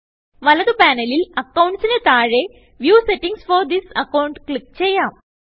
വലത് പാനലിൽ Accountsന് താഴെ വ്യൂ സെറ്റിംഗ്സ് ഫോർ തിസ് accountക്ലിക്ക് ചെയ്യാം